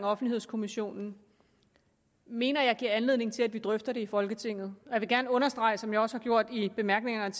offentlighedskommissionen mener jeg giver anledning til at vi drøfter det i folketinget jeg vil gerne understrege som jeg også har gjort i bemærkningerne